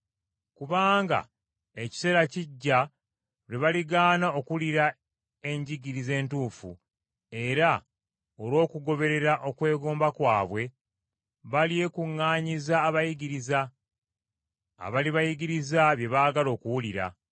Kubanga ekiseera kijja lwe baligaana okuwulira enjigiriza entuufu, era olw’okugoberera okwegomba kwabwe balyekuŋŋaanyiza abayigiriza, abalibayigiriza bye baagala, okuwulira.